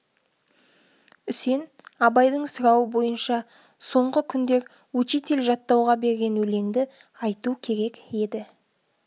үсен абайдың сұрауы бойынша соңғы күндер учитель жаттауға берген өлеңді айту керек еді